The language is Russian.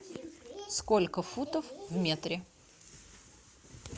сколько футов в метре